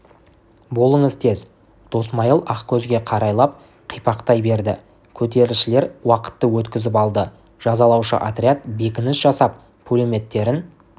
болыңыз тез досмайыл ақкөзге қарайлап қипақтай берді көтерілісшілер уақытты өткізіп алды жазалаушы отряд бекініс жасап пулеметтерін